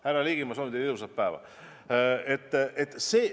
Härra Ligi, ma soovin teile ilusat päeva!